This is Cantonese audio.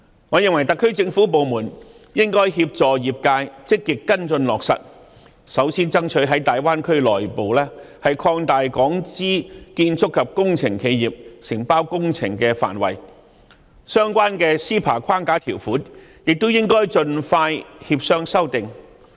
我認為特區政府部門應該協助業界積極跟進落實，首先爭取在大灣區內部擴大港資建築及工程企業承包工程的範圍，相關的 CEPA 框架條款亦應該盡快協商修訂。